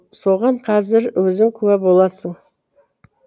соған қазір өзің куә боласың